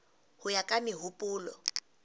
ho ya ka mehopolo e